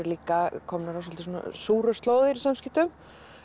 líka komnar á svolítið slóðir í samskiptum